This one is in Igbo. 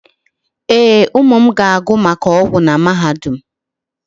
Ee, ụmụ m ga-agụ maka ọgwụ na mahadum.